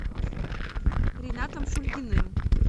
ринатом шульгиным